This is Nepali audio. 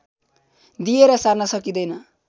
दिएर सार्न सकिँदैन